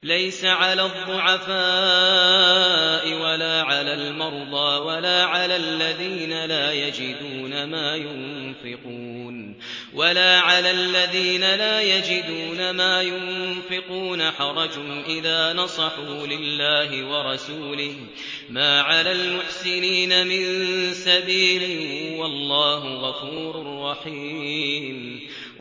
لَّيْسَ عَلَى الضُّعَفَاءِ وَلَا عَلَى الْمَرْضَىٰ وَلَا عَلَى الَّذِينَ لَا يَجِدُونَ مَا يُنفِقُونَ حَرَجٌ إِذَا نَصَحُوا لِلَّهِ وَرَسُولِهِ ۚ مَا عَلَى الْمُحْسِنِينَ مِن سَبِيلٍ ۚ وَاللَّهُ غَفُورٌ رَّحِيمٌ